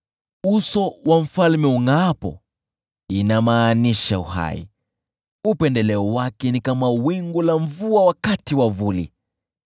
Uso wa mfalme ungʼaapo, inamaanisha uhai; upendeleo wake ni kama wingu la mvua wakati wa vuli.